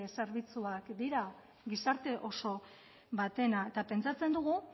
zerbitzuak dira gizarte oso batena eta pentsatzen dugu